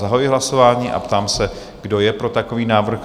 Zahajuji hlasování a ptám se, kdo je pro takový návrh?